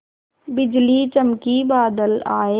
बिजली चमकी बादल आए